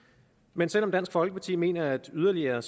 men selv om dansk folkeparti mener at yderligere